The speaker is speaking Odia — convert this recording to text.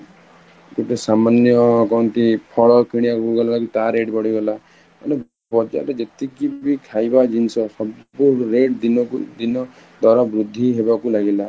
ଗୋଟେ ସାମାନ୍ୟ କଣ କହନ୍ତି ପଲ କିଣିବାକୁ ଗଲେ ତାର rate ବଢି ଗଲା, ମାନେ ବଜାର ରେ ଯେତିକି ବି ଖାଇବା ଜିନିଷ ସବୁ rate ଦିନ କୁ ଦିନ ଦର ବୃଦ୍ଧି ହବାକୁ ଲାଗିଲା